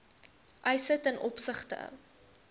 eise ten opsigte